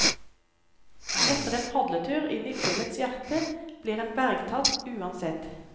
Etter en padletur inne i fjellets hjerte blir en bergtatt, uansett.